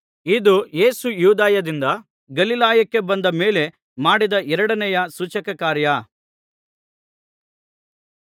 ಇದು ಯೇಸು ಯೂದಾಯದಿಂದ ಗಲಿಲಾಯಕ್ಕೆ ಬಂದ ಮೇಲೆ ಮಾಡಿದ ಎರಡನೆಯ ಸೂಚಕಕಾರ್ಯ